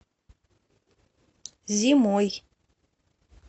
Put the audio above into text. зимой